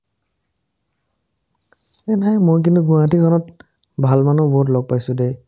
মই কিন্তু গুৱাহাটীখনত ভাল মানুহ বহুত লগ পাইছো দে